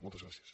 moltes gràcies